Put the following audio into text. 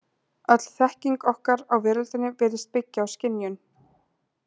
Öll þekking okkar á veröldinni virðist byggja á skynjun.